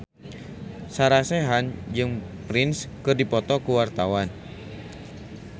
Sarah Sechan jeung Prince keur dipoto ku wartawan